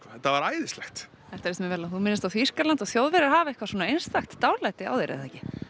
þetta var æðislegt þetta líst mér vel á þú minnist á Þýskaland og Þjóðverjar hafa eitthvað svona einstakt dálæti á þér er það ekki